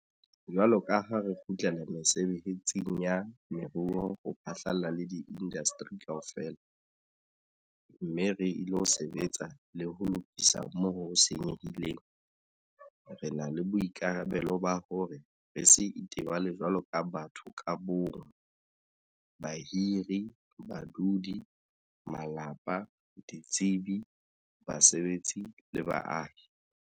Jwalo ka ha re kgutlela mesebetsing ya moruo ho phatlalla le diindasteri kaofela - mme re ilo sebetsa le ho lokisa moo ho senyehileng - re na le boikarabelo ba hore re se itebale jwaloka batho ka bo mong, bahiri, badudi, malapa, ditsebi, basebetsi le baahi.